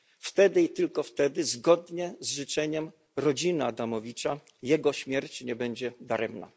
Wtedy i tylko wtedy zgodnie z życzeniem rodziny Pawła Adamowicza jego śmierć nie będzie daremna.